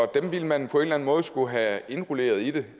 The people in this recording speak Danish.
dem ville man på en måde skulle have indrulleret i det